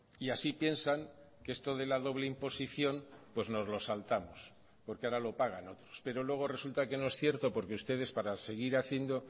y así piensan que esto de la doble imposición pues nos lo saltamos porque ahora lo pagan otros pero luego resulta que no es cierto porque ustedes para seguir haciendo